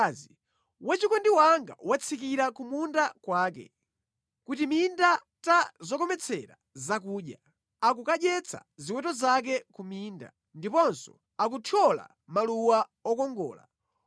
Wachikondi wanga watsikira ku munda kwake, ku timinda ta zokometsera zakudya, akukadyetsa ziweto zake ku minda, ndiponso akuthyola maluwa okongola.